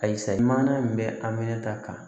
Ayi sayi mana in bɛ aminɛ ta kan